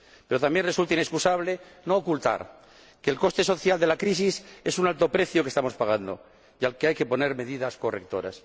Pero también resulta inexcusable no ocultar que el coste social de la crisis es un alto precio que estamos pagando y al que hay que poner medidas correctoras.